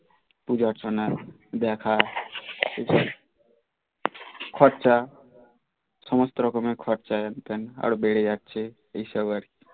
পূজা অর্চনা দেখা খরচা সমস্ত রকমের খরচ হেন তেন বেড়ে যাচ্ছে এইসব আর কি